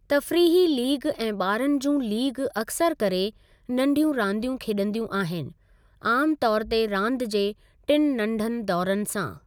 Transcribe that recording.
तफ़रीही लीग ऐं ॿारनि जूं लीग अक्सरु करे नंढियूं रांदियूं खेॾंदियूं आहिनि, आमु तौर ते रांदि जे टिनि नंढनि दौरनि सां।